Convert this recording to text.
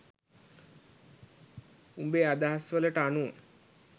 උබේ අදහස් වලට අනුව